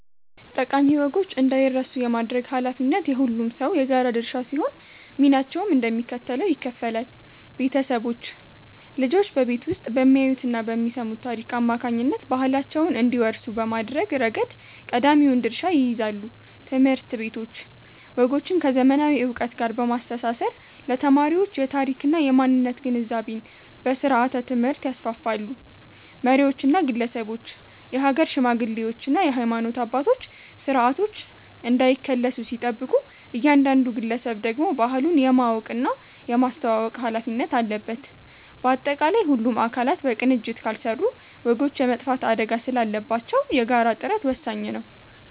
ጠቃሚ ወጎች እንዳይረሱ የማድረግ ኃላፊነት የሁሉም ሰው የጋራ ድርሻ ሲሆን፣ ሚናቸውም እንደሚከተለው ይከፈላል፦ ቤተሰቦች፦ ልጆች በቤት ውስጥ በሚያዩትና በሚሰሙት ታሪክ አማካኝነት ባህላቸውን እንዲወርሱ በማድረግ ረገድ ቀዳሚውን ድርሻ ይይዛሉ። ትምህርት ቤቶች፦ ወጎችን ከዘመናዊ ዕውቀት ጋር በማስተሳሰር ለተማሪዎች የታሪክና የማንነት ግንዛቤን በስርዓተ-ትምህርት ያስፋፋሉ። መሪዎችና ግለሰቦች፦ የሀገር ሽማግሌዎችና የሃይማኖት አባቶች ስርዓቶች እንዳይከለሱ ሲጠብቁ፣ እያንዳንዱ ግለሰብ ደግሞ ባህሉን የማወቅና የማስተዋወቅ ኃላፊነት አለበት። ባጠቃላይ፣ ሁሉም አካላት በቅንጅት ካልሰሩ ወጎች የመጥፋት አደጋ ስላለባቸው የጋራ ጥረት ወሳኝ ነው።